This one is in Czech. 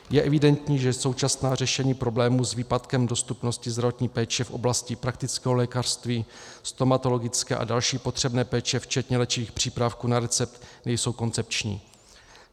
Je evidentní, že současná řešení problémů s výpadkem dostupnosti zdravotní péče v oblasti praktického lékařství, stomatologické a další potřebné péče, včetně léčivých přípravků na recept, nejsou koncepční.